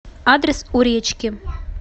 адрес у речки